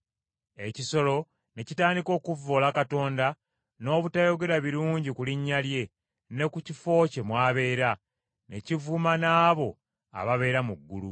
Ekisolo ne kitandika okuvvoola Katonda n’obutayogera birungi ku linnya lye, ne ku kifo kye mw’abeera, ne kivuma n’abo ababeera mu ggulu.